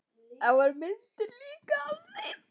Það voru líka myndir af þeim.